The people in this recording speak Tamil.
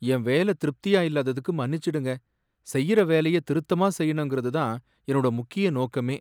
என் வேலை திருப்தியா இல்லாததுக்கு மன்னிச்சுடுங்க, செய்யுற வேலைய திருத்தமா செய்யணுங்கறது தான் என்னோட முக்கிய நோக்கமே